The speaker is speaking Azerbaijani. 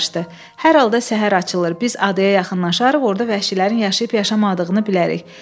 Hər halda səhər açılır, biz adaya yaxınlaşarıq, orada vəhşilərin yaşayıb-yaşamadığını bilərik.